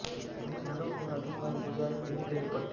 भूमिधरों को आधी मालगुजारी ही देनी पड़ती है